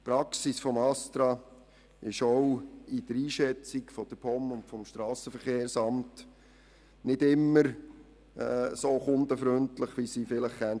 Die Praxis des ASTRA ist gemäss der Einschätzung vonseiten der POM und des SVSA nicht immer so kundenfreundlich, wie sie vielleicht sein könnte.